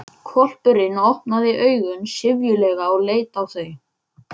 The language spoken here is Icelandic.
Hvolpurinn opnaði augun syfjulega og leit á þau.